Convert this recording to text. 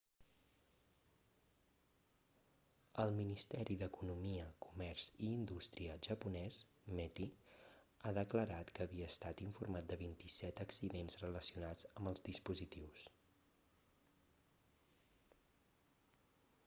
el ministeri d'economia comerç i indústria japonès meti ha declarat que havia estat informat de 27 accidents relacionats amb els dispositius